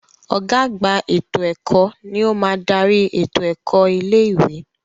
Ọ̀gá àgbà ètò ẹ̀kọ́ ni ó máa dárí ètò ẹ̀kọ́ ilé ìwé.